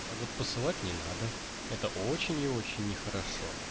а вот посылать не надо это очень и очень нехорошо